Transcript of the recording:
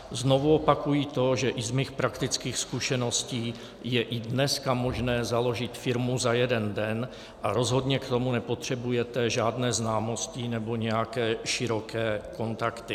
Znovu opakuji to, že i z mých praktických zkušeností je i dneska možné založit firmu za jeden den a rozhodně k tomu nepotřebujete žádné známosti nebo nějaké široké kontakty.